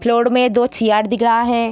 Floor मे दो chair दिख रहा है।